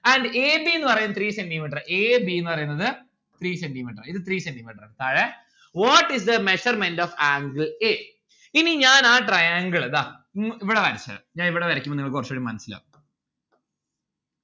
and a b ന്ന്‌ പറയുന്നത് three centi metre. a b ന്ന്‌ പറയുന്നത് three centi metre ഇത് three centi metre താഴെ what is the measurement of angle a ഇനി ഞാൻ ആ triangle ഇതാ മ്മ് ഇവിടെ വരച്ചരാം ഞാൻ ഇവിടെ വരക്കുമ്പോ നിങ്ങൾക്ക് കൊറച്ചൂടി മനസ്സിലാവും